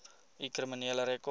u kriminele rekord